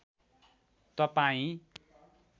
तपाईँ